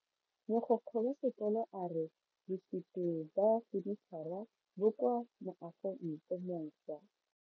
Mogokgo wa sekolo a re bosuto ba fanitšhara bo kwa moagong o mošwa.